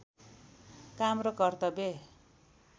काम र कर्तव्य